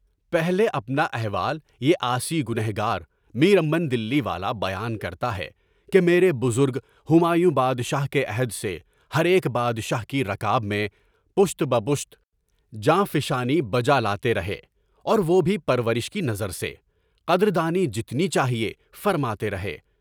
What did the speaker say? پہلے اپنا احوال یہ عاصی گنہگار، میر امن دلی والا بیان کرتا ہے کہ میرے بزرگ ہمایوں بادشاہ کے عہد سے، ایک بادشاہ کی رکاب میں، پشت بہ پشت، جانفشانی بجالاتے رہے اور وہ بھی پرورش کی نظر سے، قدر دانی جتنی چاہیے، فرماتے رہے۔